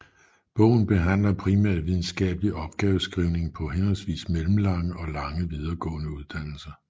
Bogen behandler primært videnskabelig opgaveskrivning på henholdsvis mellemlange og lange videregående uddannelser